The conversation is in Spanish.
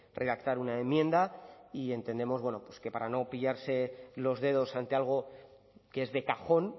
redactar una enmienda y entendemos que para no pillarse los dedos ante algo que es de cajón